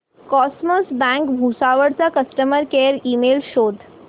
cosmos bank Bhusawal चा customer care email शोध